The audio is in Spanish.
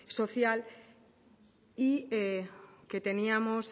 social y que teníamos